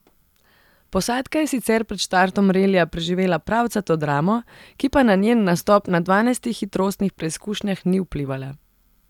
Posadka je sicer pred štartom relija preživela pravcato dramo, ki pa na njen nastop na dvanajstih hitrostnih preizkušnjah ni vplivala.